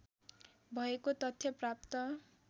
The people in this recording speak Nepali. भएको तथ्य प्राप्त